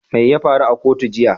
Mai ya faru a kotu jiya?